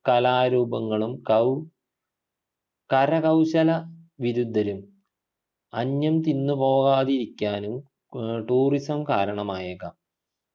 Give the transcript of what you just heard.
കലാരൂപങ്ങളും കൗ കരകൗശല വിരുദ്ധരും അന്യം തിന്ന് പോകാതിരിക്കാനും ഏർ tourism കാരണമായേക്കാം